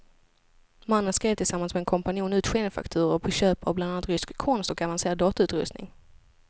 Mannen skrev tillsammans med en kompanjon ut skenfakturor på köp av bland annat rysk konst och avancerad datautrustning.